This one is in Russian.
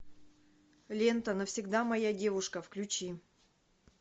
лента навсегда моя девушка включи